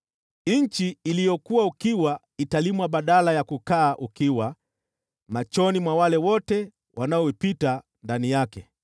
Nchi iliyokuwa ukiwa italimwa badala ya kukaa ukiwa machoni mwa wale wote wanaopita ndani yake.